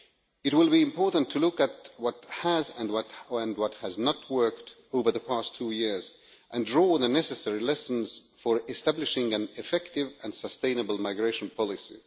It will be important to look at what has and what has not worked over the past two years and draw the necessary lessons for establishing an effective and sustainable migration policy.